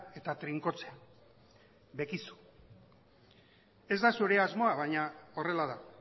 eta trinkotzea bekizu ez da zure asmoa baina horrela da